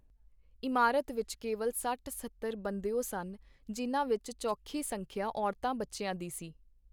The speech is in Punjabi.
ਇਮਾਰਤ ਵਿਚ ਕੇਵਲ ਸੱਠ-ਸੱਤਰ ਬੰਦਿਓ ਸਨ, ਜਿਨ੍ਹਾਂ ਵਿਚ ਚੋਖੀ ਸੰਖਿਆ ਔਰਤਾਂ ਬੱਚਿਆਂ ਦੀ ਸੀ.